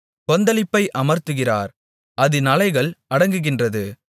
கொந்தளிப்பை அமர்த்துகிறார் அதின் அலைகள் அடங்குகின்றது